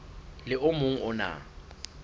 le o mong o na